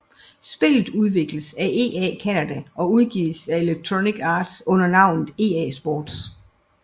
Spillet udvikles af EA Canada og udgives af Electronic Arts under navnet EA Sports